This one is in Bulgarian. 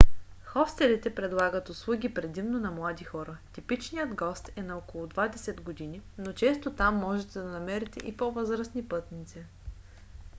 хостелите предлагат услуги предимно на млади хора – типичният гост е на около двадесет години но често там можете да намерите и по-възрастни пътници